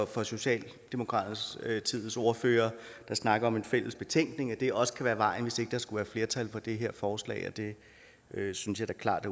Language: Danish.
for socialdemokratiets ordfører der snakker om en fælles betænkning altså at det også kan være vejen hvis ikke der skulle være flertal for det her forslag og det synes jeg da klart